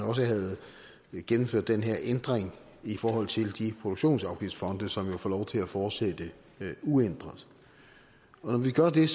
også havde gennemført den her ændring i forhold til de produktionsafgiftsfonde som jo får lov til at fortsætte uændret når vi gør det er